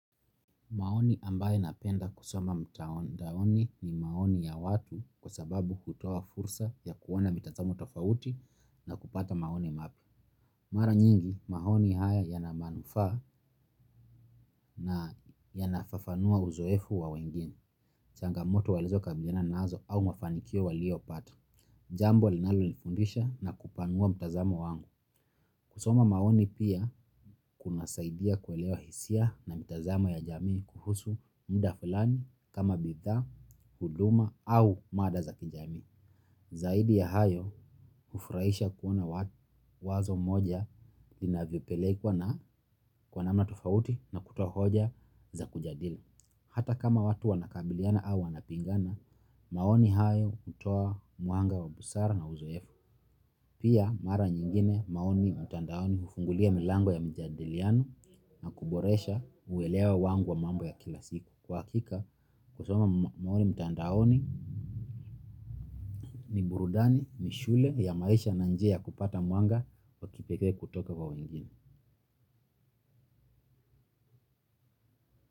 Maoni ambayo napenda kusoma mtandaoni ni maoni ya watu kwa sababu hutoa fursa ya kuona mitazamo tofauti na kupata maoni mapya. Mara nyingi, maoni haya yana manufaa na yanafafanua uzoefu wa wengine. Changamoto walizo kabiliana nazo au mafanikio walio pata. Jambo linalonifundisha na kupanua mtazamo wangu. Kusoma maoni pia kunasaidia kuelewa hisia na mitazamo ya jamii kuhusu muda fulani kama bidhaa, huduma au mada za kijamii. Zaidi ya hayo hufurahisha kuona wazo moja linavyopelekwa na kwa namna tofauti na kutoa hoja za kujadili. Hata kama watu wanakabiliana au wanapigana, maoni hayo hutoa muanga wa busara na uzoefu. Pia mara nyingine maoni mtandaoni hufungulia milango ya mjadiliano na kuboresha uwelewa wangu wa mambo ya kila siku. Kwa hakika, kusoma maoni mtandaoni ni burudani ni shule ya maisha na njia ya kupata mwanga w kipekee kutoka kwa wengine.